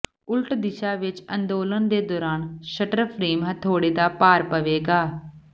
ਉਲਟ ਦਿਸ਼ਾ ਵਿੱਚ ਅੰਦੋਲਨ ਦੇ ਦੌਰਾਨ ਸ਼ਟਰ ਫਰੇਮ ਹਥੌੜੇ ਦਾ ਭਾਰ ਪਾਵੇਗਾ